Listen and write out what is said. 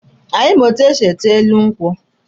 Anyị ma etu esi ete elu ugwu.